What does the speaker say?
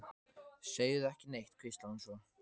Segðu ekki neitt, hvíslaði hún svo.